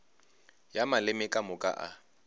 ya maleme ka moka a